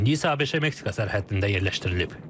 İndi isə ABŞ-Meksika sərhəddində yerləşdirilib.